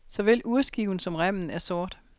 Såvel urskiven som remmen er sort.